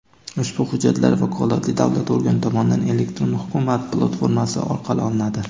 ushbu hujjatlar vakolatli davlat organi tomonidan "Elektron hukumat" platformasi orqali olinadi.